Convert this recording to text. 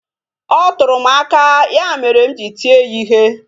Ọ tụrụ m aka ya mere m ji tie ya ihe